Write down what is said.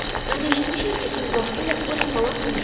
Mən eşitmişəm ki, siz vaxtilə Poli xalamla nişanlı olmusunuz.